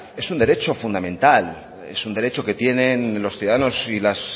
es un derecho fundamental es un derecho que tienen los ciudadanos y las